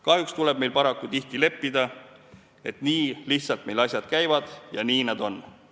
Kahjuks tuleb meil paraku tihti leppida, et nii lihtsalt meil asjad käivadki ja nii nad on.